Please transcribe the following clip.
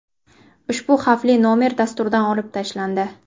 Ushbu xavfli nomer dasturdan olib tashlandi.